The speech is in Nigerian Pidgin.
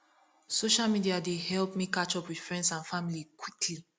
social media dey help me catch up with friends and family quickly